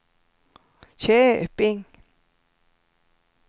Köping